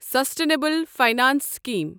sustainable finance scheme